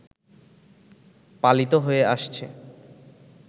পালিত হয়ে আসছে